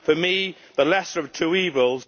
For me, the lesser of two evils